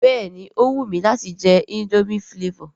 Béèni ó wù mi láti je indomie flavour